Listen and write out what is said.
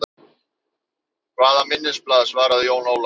Hvaða minnisblað, svaraði Jón Ólafur.